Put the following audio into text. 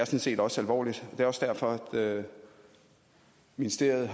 set også alvorligt og det er også derfor ministeriet